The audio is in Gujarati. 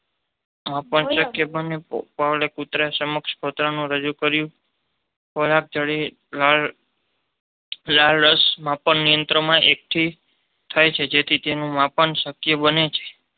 શક્ય બને. પાવલોવે કૂતરાની સમક્ષ ખોરાક રજૂ કર્યો. ખોરાક જોતાં લાળ રાશએકઠી થાય જેથી તેનું માપન શક્ય બને.